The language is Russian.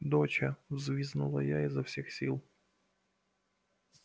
доча взвизгнула я изо всех сил